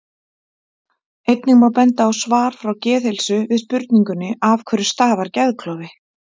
Einnig má benda á svar frá Geðheilsu við spurningunni Af hverju stafar geðklofi?